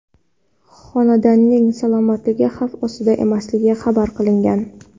Xonandaning salomatligi xavf ostida emasligi xabar qilingan.